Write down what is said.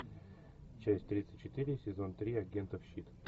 часть тридцать четыре сезон три агентов щит